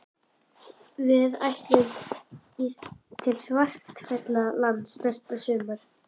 Við ætlum til Svartfjallalands næsta sumar.